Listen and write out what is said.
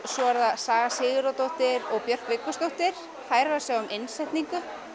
svo er það Saga Sigurðardóttir og Björk Viggósdóttir þær eru að sjá um innsetningu